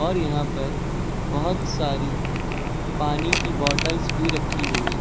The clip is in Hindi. और यहां पर बहोत सारी पानी की बॉटल्स भी रखी हुई हैं।